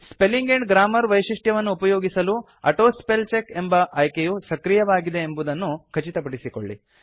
spelling and grammar ವೈಶಿಷ್ಟ್ಯವನ್ನು ಉಪಯೋಗಿಸಲು autospellcheck ಎಂಬ ಆಯ್ಕೆಯು ಸಕ್ರಿಯವಾಗಿದೆಂಬುದನ್ನು ಖಚಿತಪಡಿಸಿಕೊಳ್ಳಿ